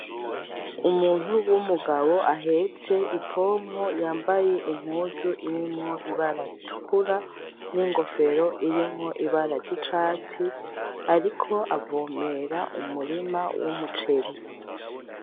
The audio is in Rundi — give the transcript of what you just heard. Umuntu w'umugabo ahetse i pompo yambaye impuzu irimwo ibara ritukura n'ingofero irimwo ibara ry'icatsi ariko avomera umurima w'umuceri.